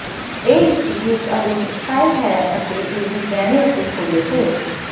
ਇਹ ਇਸਤਰੀ ਇੱਕ ਆਧੁਨਿਕ ਸਟਾਈਲ ਹੈ ਅਤੇ ਇਹ ਵੀ ਗਹਿਣੇ ਅਤੇ ਥੌਲੇ ਹੈ